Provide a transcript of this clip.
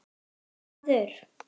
Ungi maður